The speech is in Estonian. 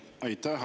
Aitäh!